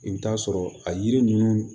I bɛ t'a sɔrɔ a yiri ninnu